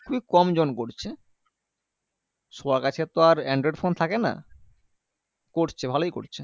খুবই কম জন করছে সবার কাছেতো আর android phone থাকেনা করছে ভালোই করছে